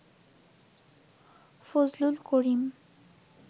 Fazlul Karim